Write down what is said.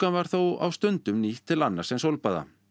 var þó á stundum nýtt til annars en sólbaða